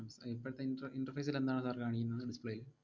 ഉം ഇപ്പഴത്തെ inter~ interface ൽ എന്താണ് sir കാണിക്കുന്നത്? display ൽ